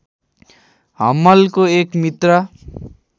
हम्मलको एक मित्र